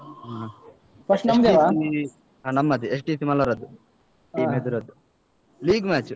ಹ. ಹ ನಮ್ಮದೆ. team ಎದುರದ್ದು league match .